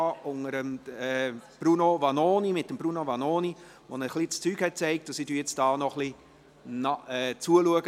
und insbesondere dem Grundsatz der Gleichstellung von Mann und Frau nachzuleben.